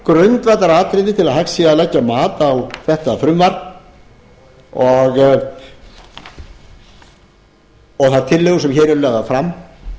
grundvallaratriði til að hægt sé að leggja mat á þetta frumvarp og þær tillögur sem hér eru lagðar fram